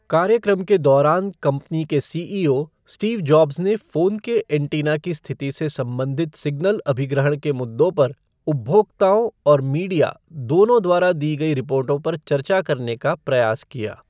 कार्यक्रम के दौरान, कंपनी के C E O Steve Jobs ने फ़ोन के एंटीना की स्थिति से संबंधित सिग्नल अभिग्रहण के मुद्दों पर उपभोक्ताओं और मीडिया दोनों द्वारा दी गई रिपोर्टों पर चर्चा करने का प्रयास किया।